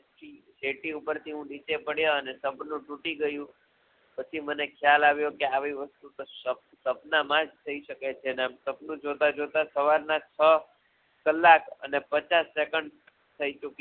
સેટિ ઉપરથી હું નીચે પડ્યો અને સપનું તૂટી ગયું પછી મને ખ્યાલ આવ્યો કે આવી વસ્તુઓ સપના માજ થઈ શકે છે અને સપનું જોતાં જોતાં સવારના છ કલાક અને પચાસ સેકંડ થઈ ચૂકી